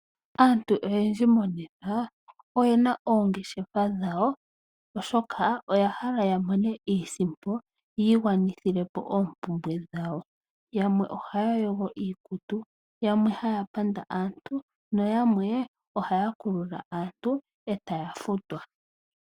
Aantu oyendji monena oyena oongeshefa molwashoka oyahala okumona iisimpo yiigwanithile po oompumbwe dhawo. Yamwe ohaya yogo iikutu, yamwe ohaya panda yo yamwe ohaya kulula aantu e taya futwa.